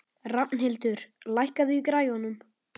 Rafnhildur, lækkaðu í græjunum.